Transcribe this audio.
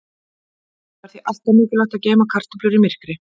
Það er því alltaf mikilvægt að geyma kartöflur í myrkri.